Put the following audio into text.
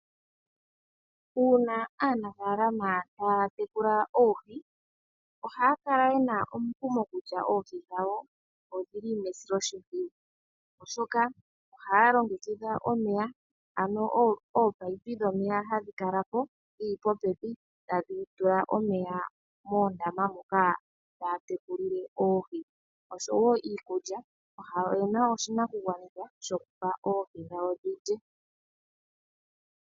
Uuna aanafaalama ta ya tekula oohi, oha ya kala yena omukumo kutya oohi dhawo odhi li mesiloshimpwiyu. Oshoka oha ya longekidha omeya ano oominino dhomeya ha dhi kalapo dhili popepi ta dhi tula omeya moondama moka muna oohi, osho woo oyena oshi nakugwanithwa shoku tekulilamo oohi moondama dhawo.